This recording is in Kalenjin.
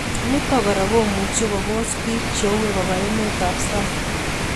Nitok kora komuchi kopunguzan piik che uoe koba emet ab sang